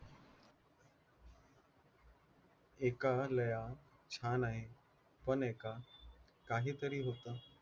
एका लया छान आहे काहीतरी होतं